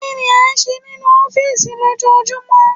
Kí ni ó ń ṣe nínú ọ́fìsì lójoojúmọ́?